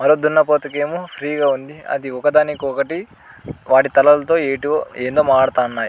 మరో దున్నపోతుకి ఏమో ఫ్రీ గా ఉంది అది ఒక దానికి ఒకటి వాటి తలలతో ఏటివో ఏందో మారతానాయ్.